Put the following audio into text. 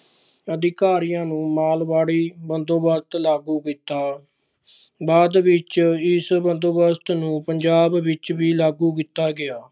ਅਧਿਕਾਰੀਆਂ ਨੂੰ ਮਾਲਵਾੜੀ ਬੰਦੋਬਸਤ ਲਾਗੂ ਕੀਤਾ, ਬਾਅਦ ਵਿੱਚ ਇਸ ਬੰਦੋਬਸਤ ਨੂੰ ਪੰਜਾਬ ਵਿੱਚ ਵੀ ਲਾਗੂ ਕੀਤਾ ਗਿਆ।